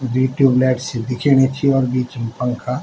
दुइ tube light सी दिखेणी च और बीच म पंखा।